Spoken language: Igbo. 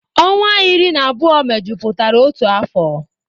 Ọnwa iri na abụọ mejupụtara otu afọ